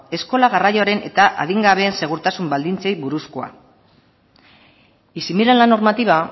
eskola garraioaren eta adingabeen segurtasun baldintzei buruzkoa y si miran la normativa